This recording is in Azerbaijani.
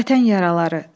Vətən yaraları.